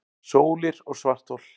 Sólir og svarthol